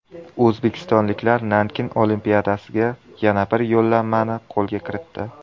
O‘zbekistonliklar Nankin Olimpiadasiga yana bir yo‘llanmani qo‘lga kiritdi.